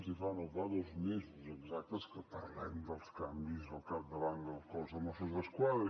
si fa no fa dos mesos exactes que parlem dels canvis al capdavant del cos de mossos d’esquadra